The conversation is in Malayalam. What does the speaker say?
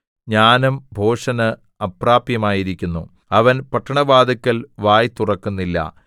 ജ്ഞാനം ഭോഷന് അപ്രാപ്യമായിരിക്കുന്നു അവൻ പട്ടണവാതില്ക്കൽ വായ് തുറക്കുന്നില്ല